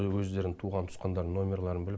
өздерін туған туысқандарының нөмерларын біліп